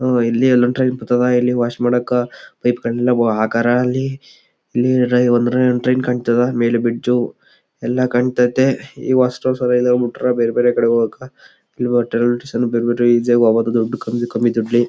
ಇಲ್ಲಿ ಎಲ್ಲ ಟ್ರೈನ್ ಬರ್ತದ ಇಲ್ಲಿ ವಾಶ್ ಮಾಡಾಕ ಪೈಪ್ ಗಳನ್ನ ಎಲ್ಲ ಹಕಾರ ಅಲ್ಲಿ ಇಲ್ಲಿ ಒಂದ್ ಟ್ರೈನ್ ಕಾಂತದ ಮೇಲೆ ಬ್ರಿಜ್ ಎಲ್ಲ ಕಾಂತಯ್ತಿ . ಬೇರ್ಬೇರೆ ಕಡೆ ಹೋಗೋಕ್ ರೈಲ್ವೆ ಸ್ಟೇಷನ್ ಬೇರೆ ಬೇರೆ ಇಜಿ ಆಗಿ ಹೋಗ್ಬಹುದು ಕಮ್ಮಿ--